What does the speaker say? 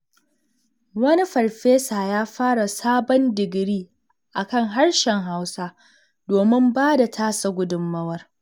Wani farfesa ya fara sabon digiri a kan harshen Hausa, domin ba da tasa gudunmawar.